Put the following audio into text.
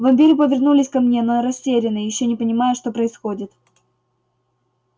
вампиры повернулись ко мне но растерянно ещё не понимая что происходит